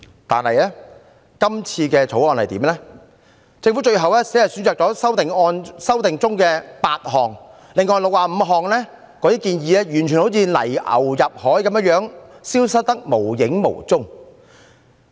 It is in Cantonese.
然而，政府提出的《條例草案》只選擇修訂當中的8項，另外65項建議完全像泥牛入海，消失得無影無蹤。